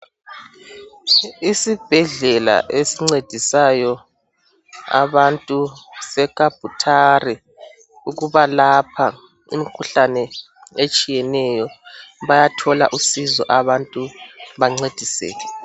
Isibhedlela esincedisayo abantu se Kabutare ukubalapha imikhuhlane etshiyeneyo bayathola usizo abantu bencediseke.